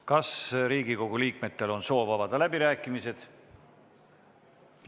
Kas Riigikogu liikmetel on soov avada läbirääkimised?